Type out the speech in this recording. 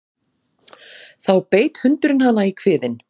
Þá beit hundurinn hana í kviðinn